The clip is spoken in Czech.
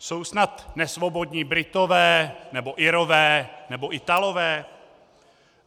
Jsou snad nesvobodní Britové nebo Irové nebo Italové?